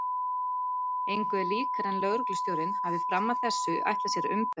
Engu er líkara en lögreglustjórinn hafi fram að þessu ætlað sér að umbera